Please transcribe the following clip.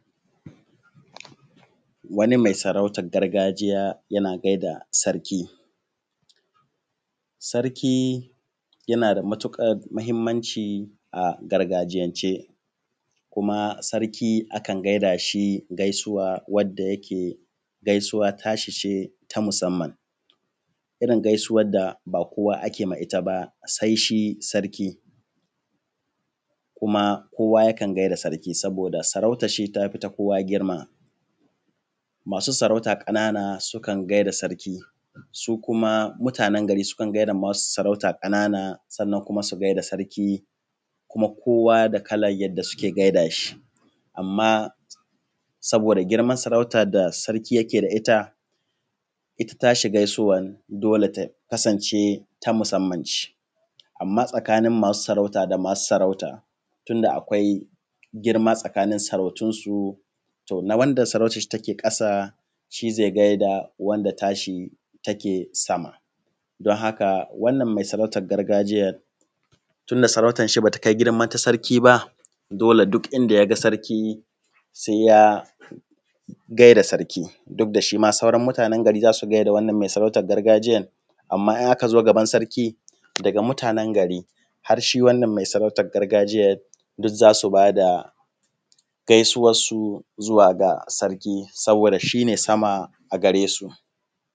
Wani mai sarautar gargajiya yana gaida sarki. Sarkı yana da matuƙar mahimmanci a gargajiyance kuma sarki akan gaidashi gaisuwa wadda yake gaisuwa tashi ce ta musamman, irin gaisuwa da bakowa ake ma ita ba sai shi sarkı, kuma kowa ya kan gaida sarki saboda sarautan shi tafi ta kowa girma. Masu sarauta ƙanana sukan gaida sarki su kuma mutanen gari sukan gaida masu sarauta ƙanana sannan kuma su gaida sarki kuma kowa da kalan yadda suke gaidashi, amma saboda girman sarauta da sarki yake da ita ita tashi gaisuwan dole ta kasance ta musamman ce, amma tsakanin masu sarauta da masu sarauta tunda akwai girma tsakanin sarautunsu tona wanda sarautanshi take ƙasa shi zai gaida wanda tashi take sama. Don haka wannan mai sarautan gargajiyar tunda sarautanshi ba ta kai girman na sarki ba dole duk inda yaga sarki sai ya gaida sarki duk da shima sauran mutanen garin za su gaida wannan mai sarautan gargajiyan amma in aka zo gaban sarki daga mutanen gari har shi wannan mai sarautan gargajiyan duk za su bada gaisuwansu zuwa ga sarkı saboda shi ne sama a gare su.